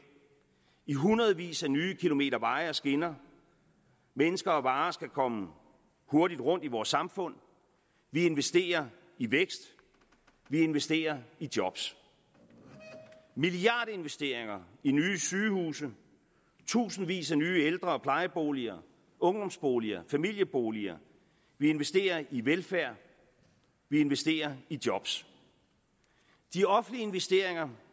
i hundredvis af nye kilometer veje og skinner mennesker og varer skal kunne komme hurtig rundt i vores samfund vi investerer i vækst vi investerer i job milliardinvesteringer i nye sygehuse tusindvis af nye ældre og plejeboliger ungdomsboliger og familieboliger vi investerer i velfærd vi investerer i job de offentlige investeringer